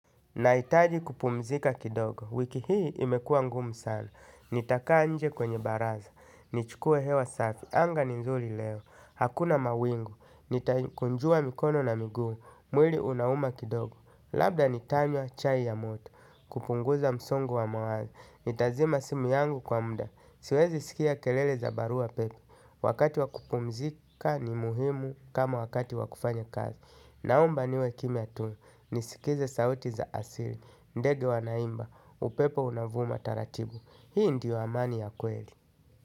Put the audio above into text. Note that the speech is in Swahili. Naitaji kupumzika kidogo, wiki hii imekua ngumu sana, nitakaa nje kwenye baraza, nichukue hewa safi, anga ni nzuli leo, hakuna mawingu, nitaikunjua mikono na miguu, mwili unauma kidogo, labda nitanywa chai ya moto, kupunguza msongo wa mawazo, nitazima simu yangu kwa muda, siwezi sikia kelele za barua pepe, wakati wakupumzika ni muhimu kama wakati wakufanya kazi. Naomba niwe kimya tu, nisikize sauti za asiri, ndege wa naimba, upepo unavuma taratibu. Hii ndiyo amani ya kweli.